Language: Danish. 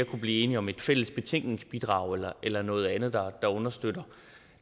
kunne blive enige om et fælles betænkningsbidrag eller eller noget andet der understøtter